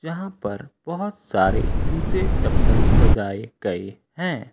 यहां पर बहुत सारे जूते चप्पल सजाए गए हैं।